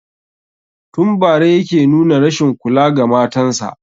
Tun bara yake nuna rashin kula ga matan sa